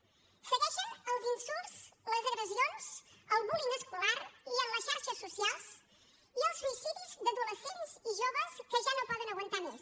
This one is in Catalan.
segueixen els insults les agressions el bullying escolar i en les xarxes socials i els suïcidis d’adolescents i joves que ja no poden aguantar més